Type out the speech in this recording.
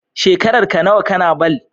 Shekarar ka nawa kana ball?